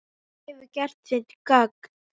Þú hefur gert þitt gagn.